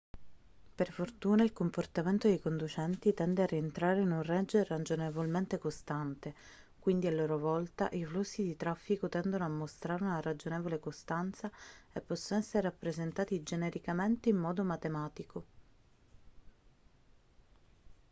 per fortuna il comportamento dei conducenti tende a rientrare in un range ragionevolmente costante quindi a loro volta i flussi di traffico tendono a mostrare una ragionevole costanza e possono essere rappresentati genericamente in modo matematico